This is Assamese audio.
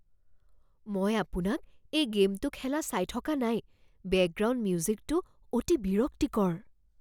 মই আপোনাক এই গে'মটো খেলা চাই থকা নাই। বেকগ্ৰাউণ্ড মিউজিকটো অতি বিৰক্তিকৰ!